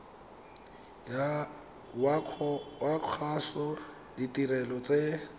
wa kgaso ditirelo tse